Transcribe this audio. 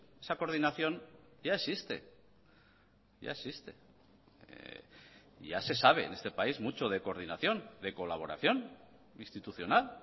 esa coordinación ya existe ya existe ya se sabe en este país mucho de coordinación de colaboración institucional